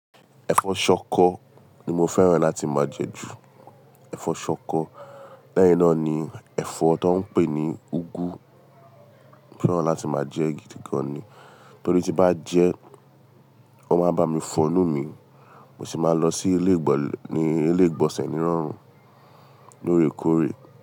Ẹ̀fọ́ ṣọkọ ni mo fẹ́ràn láti máa jẹ ju ẹ̀fọ́ ṣọkọ leyin ná ni ẹ̀fọ́ tó n pè ní úgú mo fẹ́ràn láti máa jẹ gidi gan ni nítorí tí bá jẹ ẹ́ wọn máa bá mi fọ̀nú mi mo sì máa lọ sí ilé ìgbọ̀nsẹ̀ ní rọrùn lóòrèkóòrè.